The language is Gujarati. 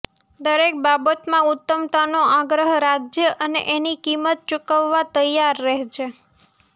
દરેક બાબતમાં ઉત્તમતાનો આગ્રહ રાખજે અને એની કિંમત ચૂકવવા તૈયાર રહેજે